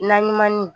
Naɲumanni